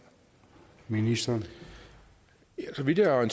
ministeren selv vil være